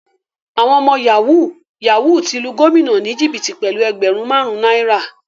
Àwọn ọmọ yahoo yahoo ti lu gómìnà ni jìbìtì pẹlú ẹgbẹrun marun náírà.